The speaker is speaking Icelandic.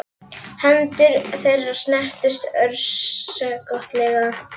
Hendur þeirra snertust örskotsstund og hún sagði lágt